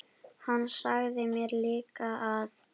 Hann sagði mér líka að